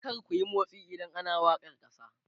kar kuyi motsi idan ana wakar kasa!